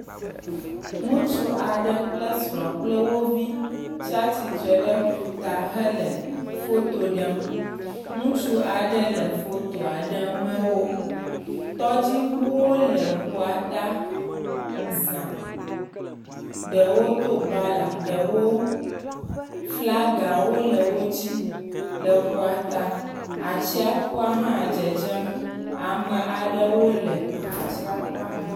Ŋutsu aɖe kple sra kple wo vi tsia tsitre ɖe ƒu ta he le fo ɖem. Ŋutsu aɖe le photoa ɖe me wò. Tɔdziŋuwo wole tsia ta zã. Ɖewo do bala. Ɖewo flaga wole wo si le ƒua ta. Atsiaƒua hã dzedzem. Ame aɖewo le atsiaƒu me.